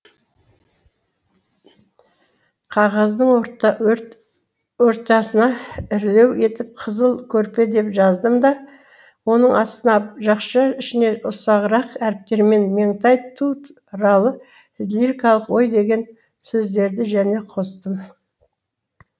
кағаздың ортасына ірілеу етіп қызыл көрпе деп жаздым да оның астына жақша ішіне үсағырак әріптермен меңтай ту ралы лирикалық ой деген сөздерді және қостым